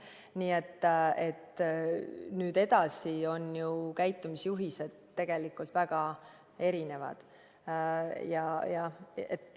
Nii et nüüd edasi on ju käitumisjuhised tegelikult väga erinevad.